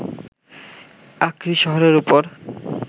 আক্রি শহরের ওপর